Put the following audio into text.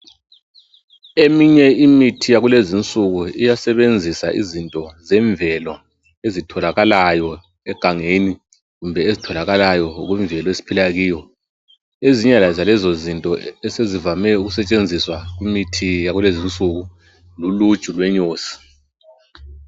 Eminye imithi yakulezinsuku iyasebenzisa izinto zemvelo ezitholakala egangeni kumbe ezitholakala ngokwemvele esiphila kiyo. Ezinye zalezozinto esezivame ukusetshenziswa kumithi yakulezinsuku luluju lwenyosi.